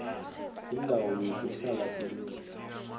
indawo yokuhlala indlu